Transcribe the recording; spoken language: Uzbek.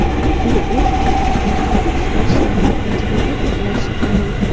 U o‘z ustida ko‘p ishlashi va tajriba to‘plashi zarur.